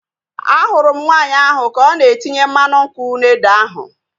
Ahụrụ m nwaanyị ahu ka ọ na-etinye mmanụ nkwụ na ede ahu